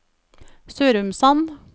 Sørumsand